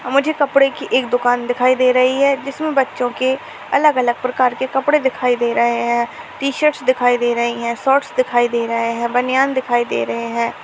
मुझे कपड़े की एक दुकान दिखाई दे रही है जिसमें बच्चों के अलग-अलग प्रकार के कपड़े दिखाई दे रहे हैं टी-शर्टस दिखाई दे रही हैं शॉर्ट्स दिखाई दे रहे हैं बनियान दिखाई दे रहे हैं।